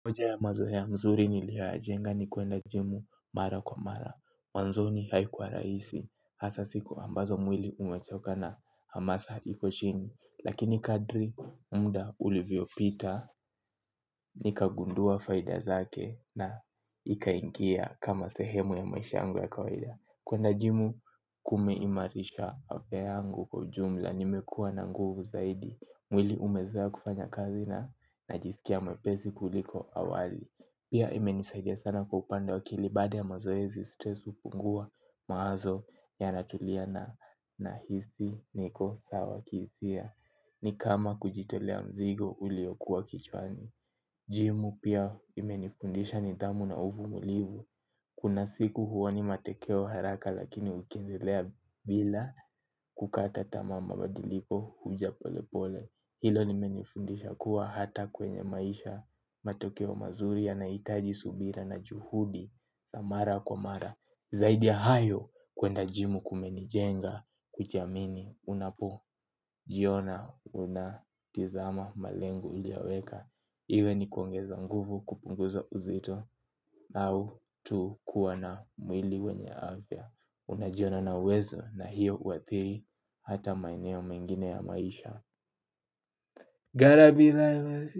Moja ya mazoe ya mzuri niliyoya jenga ni kwenda jimu mara kwa mara, mwanzoni haikuwa rahisi, hasa siku ambazo mwili umechoka na hamasa hiko chini, lakini kadri mda ulivyo pita, nikagundua faida zake na ikaingia kama sehemu ya maisha yangu ya kaweda. Kwenda jimu kume imarisha afya yangu kwa jumla nimekua na nguvu zaidi, mwili umezoea kufanya kazi na najisikia mwepesi kuliko awali. Pia imenisadia sana kwa upande wa akili baada ya mazoezi stres hupungua mawazo ya natulia na hisi niko sawa kisia. Ni kama kujitolea mzigo uliokuwa kichwani. Jimu pia imenifundisha nidhamu na uvumulivu. Kuna siku huoni matekeo haraka lakini ukiendelea bila kukata tama mabadiliko huja pole pole. Hilo limenifundisha kuwa hata kwenye maisha matokeo mazuria yanahitaji subira na juhudi za mara kwa mara. Zaidi ya hayo kuenda jimu kumenijenga kujiamini unapo jiona unatizama malengo hujaweka. Iwe ni kuongeza nguvu kupunguza uzito au tu kuwa na mwili wenye avya. Unajiona na wezo na hiyo huathiri hata maeneo mengine ya maisha. Gara bila ima.